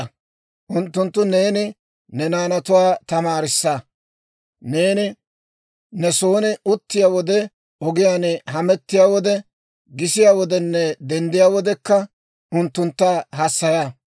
Ha azazatuwaa neeni ne naanatuwaa tamaarissa; neeni ne son uttiyaa wode, ogiyaan hamettiyaa wode, gisiyaa wodenne denddiyaa wodekka unttuntta hassaya.